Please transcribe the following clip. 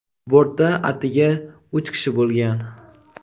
bortda atigi uch kishi bo‘lgan.